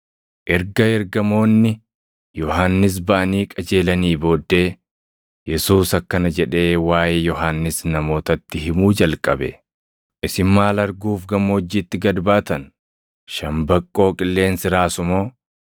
Erga ergamoonni Yohannis baʼanii qajeelanii booddee Yesuus akkana jedhee waaʼee Yohannis namootatti himuu jalqabe; “Isin maal arguuf gammoojjiitti gad baatan? Shambaqqoo qilleensi raasu moo?